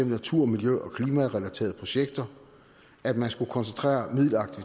natur miljø og klimarelaterede projekter at man skulle koncentrere midler